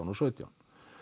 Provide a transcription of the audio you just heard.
og sautján